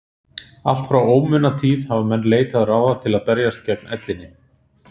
allt frá ómunatíð hafa menn leitað ráða til að berjast gegn ellinni